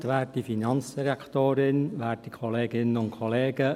Jetzt gebe ich Johann Grädel für die EDU das Wort.